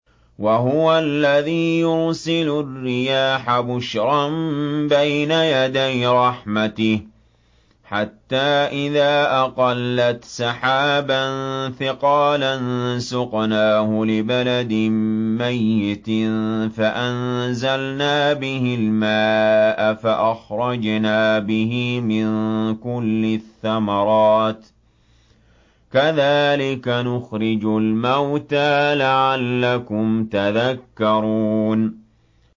وَهُوَ الَّذِي يُرْسِلُ الرِّيَاحَ بُشْرًا بَيْنَ يَدَيْ رَحْمَتِهِ ۖ حَتَّىٰ إِذَا أَقَلَّتْ سَحَابًا ثِقَالًا سُقْنَاهُ لِبَلَدٍ مَّيِّتٍ فَأَنزَلْنَا بِهِ الْمَاءَ فَأَخْرَجْنَا بِهِ مِن كُلِّ الثَّمَرَاتِ ۚ كَذَٰلِكَ نُخْرِجُ الْمَوْتَىٰ لَعَلَّكُمْ تَذَكَّرُونَ